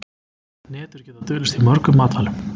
Hnetur geta dulist í mörgum matvælum.